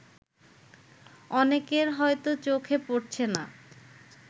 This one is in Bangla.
অনেকের হয়তো চোখে পড়ছে না